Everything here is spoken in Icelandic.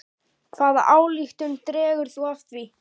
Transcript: Hvaða ályktun dregur þú af því?